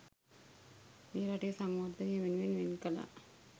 මේ රටේ සංවර්ධනය වෙනුවෙන් වෙන් කළා.